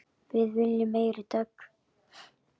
Við viljum meiri dögg!